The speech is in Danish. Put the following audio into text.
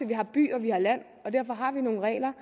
vi har by og at vi har land derfor har vi nogle regler